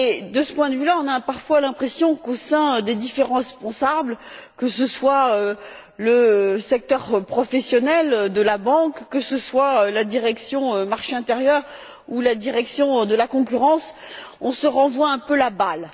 De ce point de vue là, on a parfois l'impression qu'au sein des différents responsables, que ce soit le secteur professionnel de la banque, que ce soit la Direction du marché intérieur ou la Direction de la concurrence, on se renvoie un peu la balle.